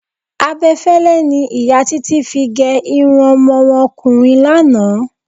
Abe̩fé̩lé̩ ni ìyá Titi fi ge̩ irun o̩mo̩ wo̩n o̩kùnrin lánàá.